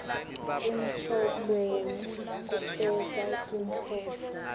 engcondvweni kufeza tinhloso